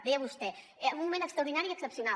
deia vostè en un moment extraordinari i excepcional